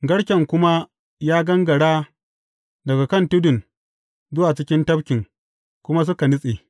Garken kuma ya gangara daga kan tudun zuwa cikin tafkin, kuma suka nutse.